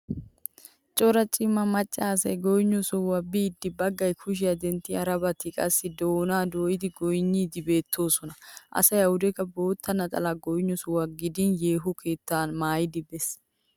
Cora cima macca asay goynniyo sohuwan biidi baggay kushiya denttin harabati qassi doonaa dooyidi goynniiddi beettoosona. Asay awudekka bootta naxalaaa goynniyo sohuwan gidin yeeho keettaa maayidi best.